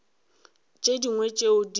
tše dingwe tšeo di bego